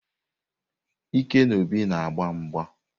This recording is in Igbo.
Ike na Obi na-agba mgba.